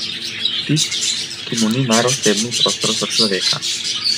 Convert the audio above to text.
Tip, ki mu ni mar osebni prostor sočloveka.